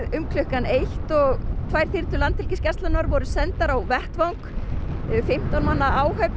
um klukkan eitt og tvær þyrlur Landhelgisgæslunnar voru sendar á vettvang fimmtán manna áhöfn